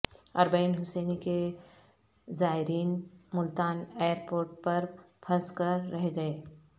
اربعین حسینی کے زائرین ملتان ایئر پورٹ پر پھنس کر رہ گئے